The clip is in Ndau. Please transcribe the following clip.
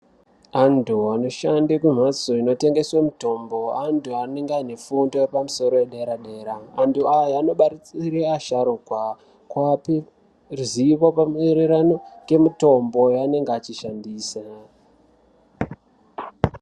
Anthu anoshande kumbatso inotengeswe mitombo anthu anenge ane fundo yepamusoro yedera dera anthu aya anobatsire asharuka kuape ruzivo pamaererano ngemitombo yaanenge achishandisa.